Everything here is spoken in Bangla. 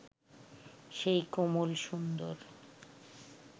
সেই কোমল সুন্দর